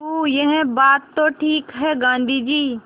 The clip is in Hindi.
हूँ यह बात तो ठीक है गाँधी जी